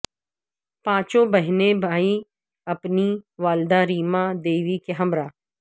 پانچوں بہن بھائی اپنی والدہ ریما دیوی کے ہمراہ